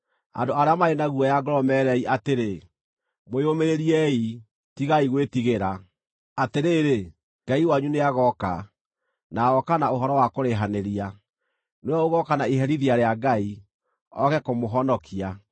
andũ arĩa marĩ na guoya ngoro meerei atĩrĩ, “Mwĩyũmĩrĩriei, tigai gwĩtigĩra; atĩrĩ, Ngai wanyu nĩagooka, na agooka na ũhoro wa kũrĩhanĩria; nĩwe ũgooka na iherithia rĩa Ngai, ooke kũmũhonokia.”